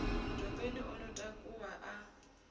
dopeni o ḓo takuwa a